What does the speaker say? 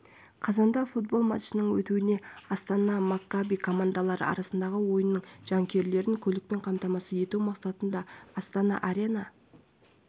қазанда футбол матчының өтуіне астана маккаби командалары арасындағы ойынның жанкүйерлерін көлікпен қамтамасыз ету мақсатында астана арена